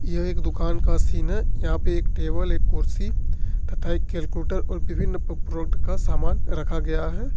यह एक दुकान का सीन है यहां पे एक टेबल एक कुर्सी तथा एक कैलकुलेटर और विभिन्न प्रोडक्ट का सामान रखा गया है।